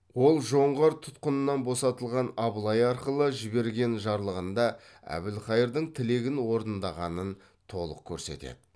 ол жоңғар тұтқынынан босатылған абылай арқылы жіберген жарлығында әбілқайырдың тілегін орындағанын толық көрсетеді